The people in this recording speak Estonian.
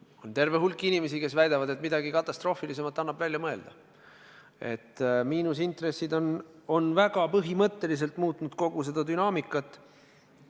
On terve hulk inimesi, kes väidavad, et midagi katastroofilisemat annab välja mõelda, et miinusintressid on väga põhimõtteliselt muutnud kogu seda dünaamikat.